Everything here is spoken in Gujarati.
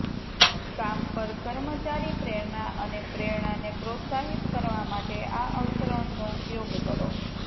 કામ પર કર્મચારી પ્રેરણા અને પ્રેરણાને પ્રોત્સાહિત કરવા માટે આ અવતરણનો ઉપયોગ કરો